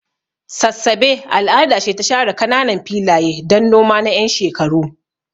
Sassabe al'ada ce ta share kananan filaye don noma na 'yan shekaru.